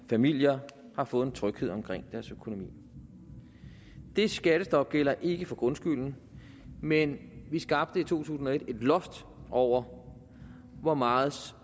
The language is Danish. familier har fået tryghed omkring deres økonomi det skattestop gælder ikke for grundskylden men vi skabte i to tusind og et et loft over hvor meget